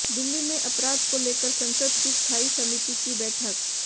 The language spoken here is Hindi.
दिल्ली में अपराध को लेकर संसद की स्थाई समिति की बैठक